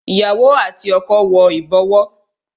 Ìyàwó àti ọkọ wo ibowo